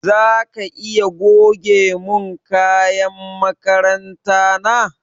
Zaka iya goge mun kayan makaranta na?